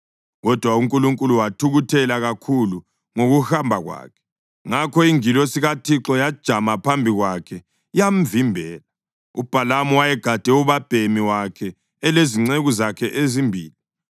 Kodwa uNkulunkulu wathukuthela kakhulu ngokuhamba kwakhe, ngakho ingilosi kaThixo yajama phambi kwakhe yamvimbela. UBhalamu wayegade ubabhemi wakhe elezinceku zakhe ezimbili.